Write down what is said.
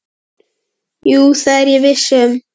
Jú, það er ég viss um.